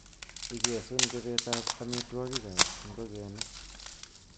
Igesun chobetab amitwogik ab ingogenik.